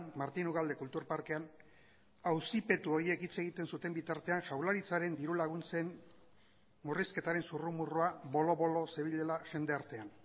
martin ugalde kultur parkean auzipetu horiek hitz egiten zuten bitartean jaurlaritzaren diru laguntzen murrizketaren zurrumurrua bolo bolo zebilela jendartean